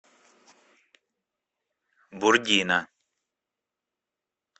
бурдина